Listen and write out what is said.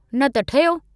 न त ठहियो।